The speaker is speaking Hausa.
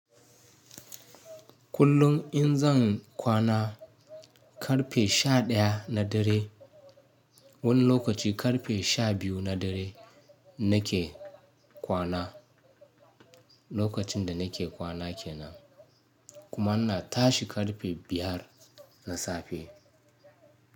Kullum in zan kwana karfe sha ɗaya na dare, wani lokaci karfe sha biyu na dare nake kwana, lokacin da nake kwana ke nan kuma ina tashi karfe biyar na safe.